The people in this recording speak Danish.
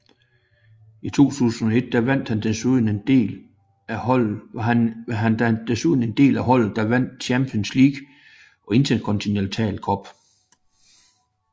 I 2001 var han desuden en del af holdet der vandt Champions League og Intercontinental Cup